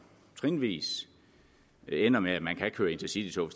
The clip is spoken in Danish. trinvis ender med at man kan køre intercitytog